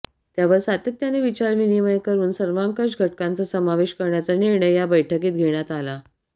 त्यावर सातत्याने विचार विनिमय करून सर्वांकश घटकांचा समावेश करण्याचा निर्णय या बैठकीत घेण्यात आला